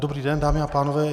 Dobrý den, dámy a pánové.